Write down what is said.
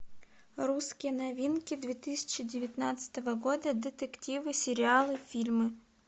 русские новинки две тысячи девятнадцатого года детективы сериалы фильмы